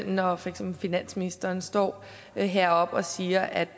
når for eksempel finansministeren står heroppe og siger at